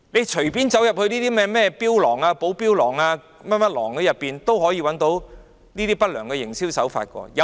隨便走進某間寶錶廊，看看有否出現不良營銷手法。